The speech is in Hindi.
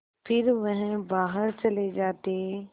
फिर वह बाहर चले जाते